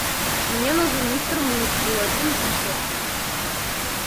мне нужен мистер мускул один литр